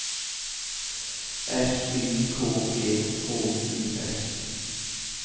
S Y K E H U S